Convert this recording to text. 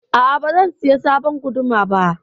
A'a, ba zan saya sabon guduma ba.